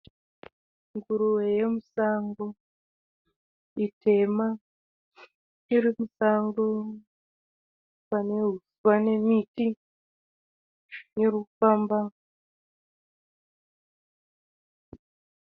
Nguruve yamusango, itema. Irimusango panemiti irikufamba.